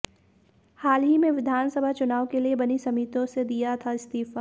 हाल ही में विधानसभा चुनाव के लिए बनी समितियों से दिया था इस्तीफा